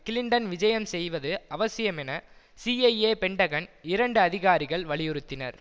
Clinton விஜயம் செய்வது அவசியம் என சீஐஏ பென்டகன் இரண்டு அதிகாரிகள் வலியுறுத்தினர்